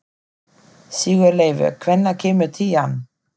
Sigurleifur, hvenær kemur tían?